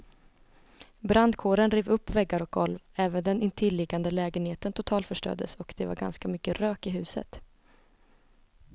Brandkåren rev upp väggar och golv, även den intilliggande lägenheten totalförstördes och det var ganska mycket rök i huset.